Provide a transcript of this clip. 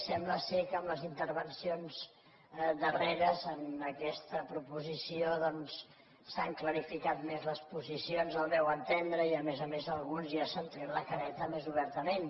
sembla que amb les intervencions darreres en aquesta proposició s’han clarificat més les posicions al meu entendre i a més a més alguns ja s’han tret la careta més obertament